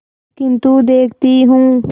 किन्तु देखती हूँ